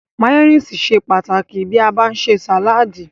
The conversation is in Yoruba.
Máyónísì ṣe pàtàkì tí a bá ń ṣe sàládì.